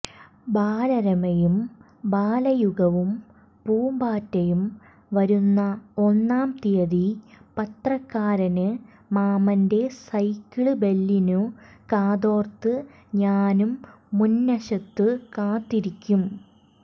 ബാലരമയും ബാലയുഗവും പൂമ്പാറ്റയും വരുന്ന ഒന്നാം തീയതി പത്രക്കാരന് മാമന്റെ സൈക്കിള് ബെല്ലിനു കാതോര്ത്തു ഞാന് മുന്വശത്തു കാത്തിരിക്കും